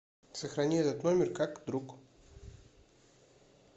сохрани этот номер как друг